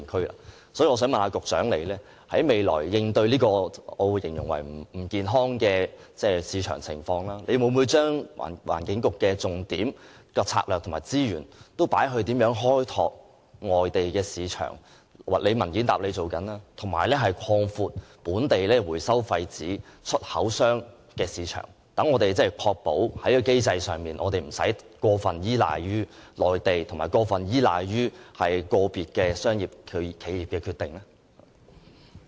因此，我想問局長，面對這種我形容為不健康的市場情況，環境局未來的工作重點、策略和資源會否投放於開拓外地市場——局長已在主體答覆中表示正進行有關工作——以及擴闊本地廢紙回收商的出口市場，確保在機制上無須過分依賴內地和個別企業的商業決定？